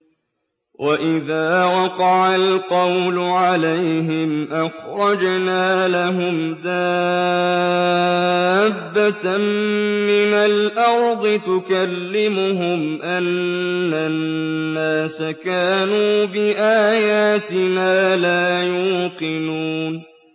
۞ وَإِذَا وَقَعَ الْقَوْلُ عَلَيْهِمْ أَخْرَجْنَا لَهُمْ دَابَّةً مِّنَ الْأَرْضِ تُكَلِّمُهُمْ أَنَّ النَّاسَ كَانُوا بِآيَاتِنَا لَا يُوقِنُونَ